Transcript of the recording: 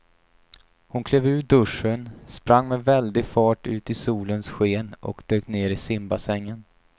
Hon klev ur duschen, sprang med väldig fart ut i solens sken och dök ner i simbassängen.